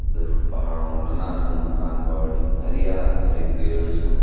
पहाड़ों मा दनादन मकान बणनि हरया भरि पेड़ छन।